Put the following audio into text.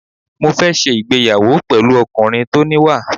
Mo fẹ́ ṣe ìgbéyàwó pẹ̀lú ọkùnrin tó níwà.